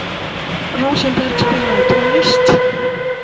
Rósenberg, spilaðu tónlist.